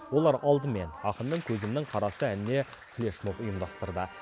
олар алдымен ақынның көзімнің қарасы әніне флешмоб ұйымдастырды